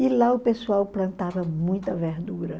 E lá o pessoal plantava muita verdura.